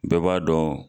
Bɛɛ b'a dɔn